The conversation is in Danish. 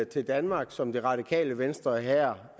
til danmark som det radikale venstre her